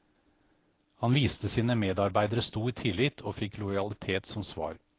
Han viste sine medarbeidere stor tillit, og fikk lojalitet som svar.